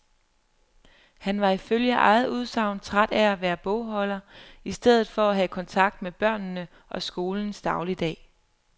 Han var ifølge eget udsagn træt af at være bogholder i stedet for at have kontakt med børnene og skolens dagligdag.